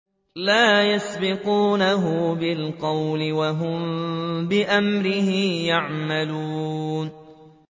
لَا يَسْبِقُونَهُ بِالْقَوْلِ وَهُم بِأَمْرِهِ يَعْمَلُونَ